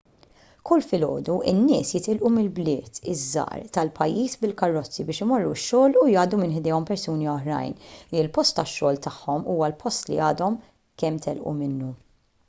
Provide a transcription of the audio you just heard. kull filgħodu in-nies jitilqu mill-bliet iż-żgħar tal-pajjiż bil-karozzi biex imorru x-xogħol u jgħaddu minn ħdejhom persuni oħrajn li l-post tax-xogħol tagħhom huwa l-post li għadhom kemm telqu minnu